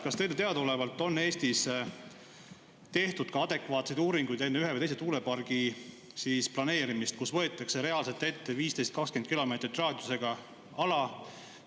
Kas teile teadaolevalt on Eestis tehtud adekvaatseid uuringuid enne ühe või teise tuulepargi planeerimist, kus võetakse reaalselt ette 15–20 kilomeetri raadiusega ala?